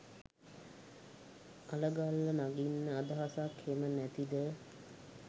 අලගල්ල නගින්න අදහසක් හෙම නැතිද?